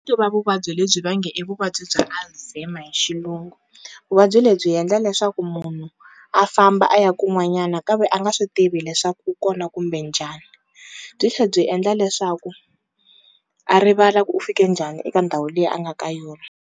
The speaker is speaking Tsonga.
vuvabyi lebyi va nge i vuvabyi bya Alzheimer hi xilungu, vuvabyi lebyi endla leswaku munhu a famba a ya kun'wanyana ka ve a nga swi tivi leswaku u kona kumbe njhani, byi tlhe byi endla leswaku a rivala ku u fike njhani eka ndhawu leyi a nga ka yona.